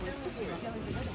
Kran, kran düzəltmək lazımdır.